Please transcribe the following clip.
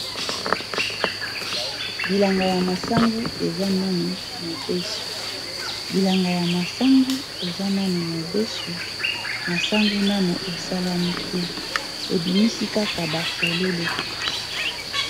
bilanga ya masangu eza nanu mobeso bilanga ya masangu eza nanu mobeso masangu nanu esalami te ebimisi kaka bafololo